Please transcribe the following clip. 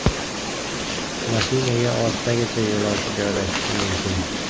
Mashinaga oltitagacha yo‘lovchi joylashishi mumkin.